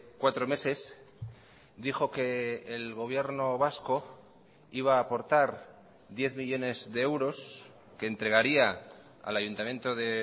cuatro meses dijo que el gobierno vasco iba a aportar diez millónes de euros que entregaría al ayuntamiento de